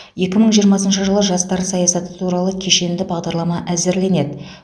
екі мың жиырмасыншы жылы жастар саясаты туралы кешенді бағдарлама әзірленеді